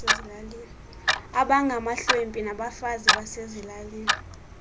abangamahlwempu nabafazi basezilalini